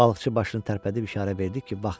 Balıqçı başını tərpədib işarə verdi ki, vaxtdır.